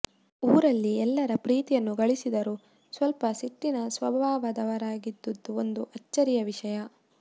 ಊರಲ್ಲಿ ಎಲ್ಲರ ಪ್ರೀತಿಯನ್ನು ಗಳಿಸಿದರೂ ಸ್ವಲ್ಪ ಸಿಟ್ಟಿನ ಸ್ವಭಾವದವರಾಗಿದ್ದಿದ್ದು ಒಂದು ಅಚ್ಚರಿಯ ವಿಷಯ